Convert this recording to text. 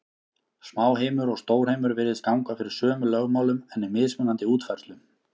Smáheimur og stórheimur virðist ganga fyrir sömu lögmálum, en í mismunandi útfærslum.